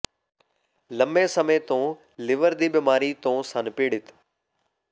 ਲੰਮੇ ਸਮੇਂ ਤੋਂ ਲਿਵਰ ਦੀ ਬਿਮਾਰੀ ਤੋਂ ਸਨ ਪੀੜਤ